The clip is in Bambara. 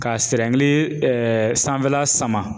Ka sanfɛla sama.